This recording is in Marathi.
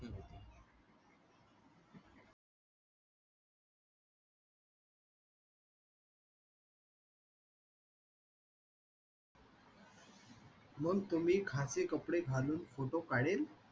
मग तुम्ही खाशी कपडे घालून photo काढेल